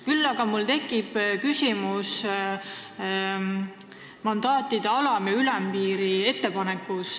Küll aga tekib mul küsimus mandaatide alam- ja ülempiiri kohta.